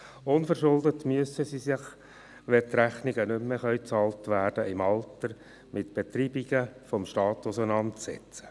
Unverschuldet müssen sich diese, wenn die Rechnungen im Alter nicht mehr bezahlt werden können, mit Betreibungen des Staates auseinandersetzten.